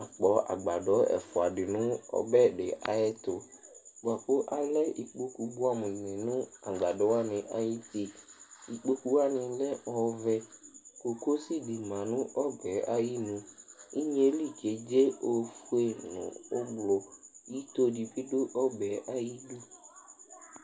akpɔ agbadɔ ɛfua di no ɔbɛ di ayɛto boa ko alɛ ikpoku boɛ amo ni no agbadɔɛ ayiti ikpoku wani lɛ ɔvɛ kokosi di ma no ɔbɛ ayinu inye li kedze ofue no ublɔ ito di bi do ɔbɛ ayidu